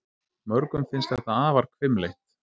Mörgum finnst þetta afar hvimleitt.